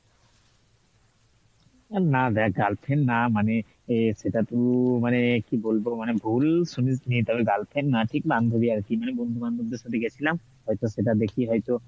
না দেখ girlfriend না মানে সেটা তো মানে কি বলবো, মানে ভুল শুনিস নি তবে girlfriend না ঠিক বান্ধবী আর কি মানে বন্ধু বান্ধব দের সাথে গেছিলাম একটা সেটা দেখে হয়তো